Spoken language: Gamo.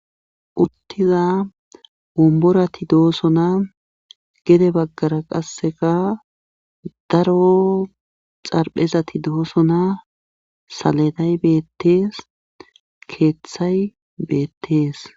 uttiza womborati doosona gede baggara qasseka daro xarphezati doosona saleday beettees ,keeththay beettees.